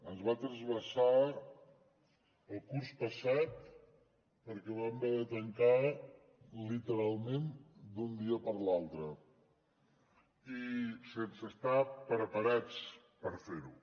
ens va trasbalsar el curs passat perquè vam haver de tancar literalment d’un dia per l’altre i sense estar preparats per fer ho